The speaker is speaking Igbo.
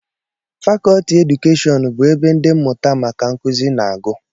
Fakọlti keedukeshọn bụ ebe ndị mmụta maka nkụzi na-agụ